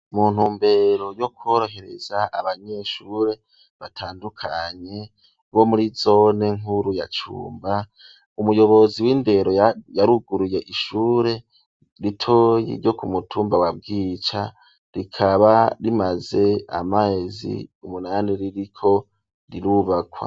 Mu ntumbero yo kworohereza abanyeshure batandukanye bo muri zone nkuru ya cumba umuyobozi w'indero yaruguruye ishure ritoyi ryo ku mutumba wabwica rikaba rimaze amazi umunani ririko rirubakwa.